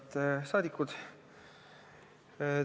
Head rahvasaadikud!